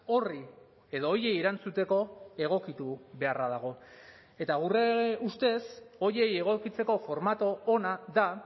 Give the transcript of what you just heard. horri edo horiei erantzuteko egokitu beharra dago eta gure ustez horiei egokitzeko formatu ona da